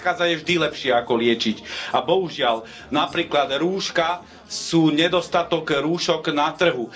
Lebo predchádzanie je vždy lepšie ako liečiť, a bohužiaľ napríklad rúška sú nedostatok rúšok na trhu.